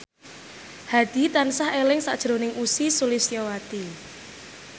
Hadi tansah eling sakjroning Ussy Sulistyawati